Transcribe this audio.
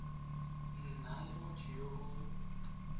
nna le motho yo o